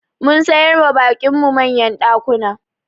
Mun samar wa baƙin mu manyan ɗakuna